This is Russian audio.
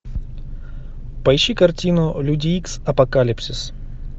поищи картину люди икс апокалипсис